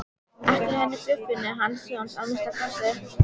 Ekki henni Guðfinnu hans Jóns að minnsta kosti.